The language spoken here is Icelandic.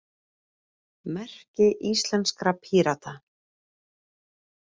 Merki íslenskra Pírata.